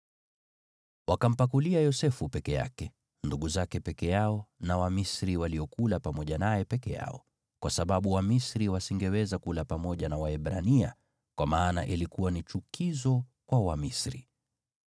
Wakampakulia Yosefu peke yake, ndugu zake peke yao na Wamisri waliokula pamoja naye peke yao, kwa sababu Wamisri wasingeweza kula pamoja na Waebrania, kwa maana ilikuwa ni chukizo kwa Wamisri.